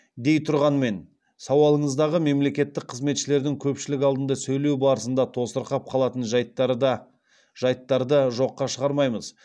дейтұрғанмен сауалыңыздағы мемлекеттік қызметшілердің көпшілік алдында сөйлеу барысында тосырқап қалатын жәйттары да жәйттарды жоққа шығармаймыз